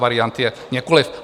Variant je několik.